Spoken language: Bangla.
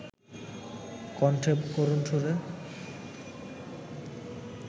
কণ্ঠে করুণ সুর